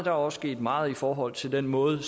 er også sket meget i forhold til den måde